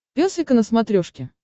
пес и ко на смотрешке